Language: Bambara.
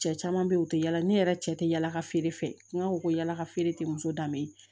Cɛ caman bɛ yen u tɛ yala ne yɛrɛ cɛ tɛ yala ka feere fɛ n'a ko ko yala ka feere tɛ muso danbe ye